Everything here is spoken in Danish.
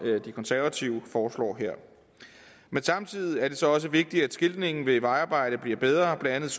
de konservative foreslår her men samtidig er det så også vigtigt at skiltningen ved vejarbejde bliver bedre blandt